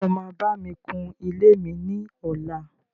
Ǹjẹ́ o máa bá mi kun ilé mi ní ọlá?